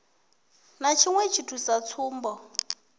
ha tshiṅwe tshithu sa tsumbo